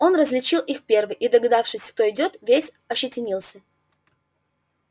он различил их первый и догадавшись кто идёт весь ощетинился